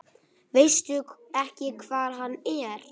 Veistu ekki hvar hann er?